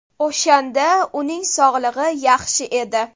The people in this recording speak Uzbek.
O‘shanda uning sog‘ligi yaxshi edi.